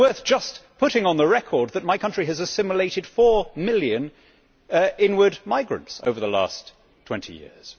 But it is worth just putting on the record that my country has assimilated four million inward migrants over the last 20 years.